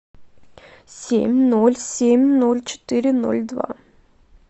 семь ноль семь ноль четыре ноль два